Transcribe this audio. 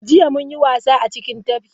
Jiya, mun yi wasa a cikin tafkin.